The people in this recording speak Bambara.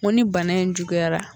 Ko ni bana in juguyara